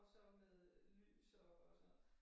Og så med lys og sådan noget